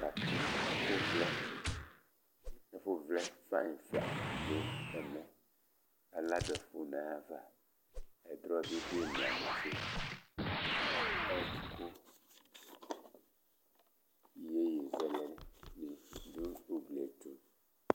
Abati, ɛfʋ vlɛ Ɛfʋ vlɛ fayi la du ɛmɛ Aladu ɛfʋ nʋ ayʋ ava Ɛdrɔ ni du imla netse Iyeyi zɛlɛ ni du ugli ye ɛtu